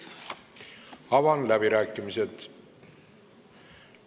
Avan läbirääkimised.